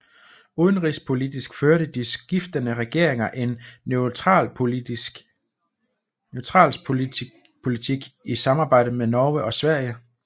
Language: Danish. Udenrigspolitisk førte de skiftende regeringer en neutralitetspolitik i samarbejde med Norge og Sverige